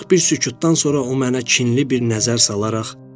Azacıq bir sükutdan sonra o mənə kinli bir nəzər salaraq: